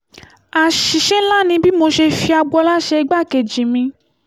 àṣìṣe ńlá ni bí mo ṣe fi agboola ṣe igbákejì mi